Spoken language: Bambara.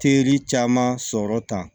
Teri caman sɔrɔ tan